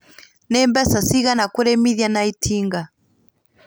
Nĩ mbeca cigana kũrĩmithia na itinga?